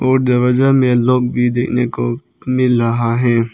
और दरवाजा मे लॉक भी देखने को मिल रहा है।